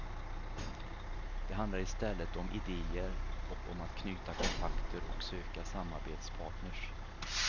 Det handlar istället om idéer och om att knyta kontakter och söka samarbetspartners.